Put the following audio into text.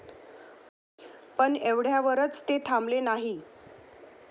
पण एवढ्यावरच ते थांबले नाही.